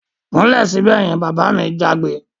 Kúnlẹ̀ sibẹ̀ yen! Bàbá mi jágbe